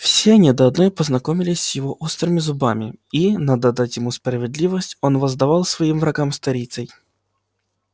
все они до одной познакомились с его острыми зубами и надо отдать ему справедливость он воздавал своим врагам сторицей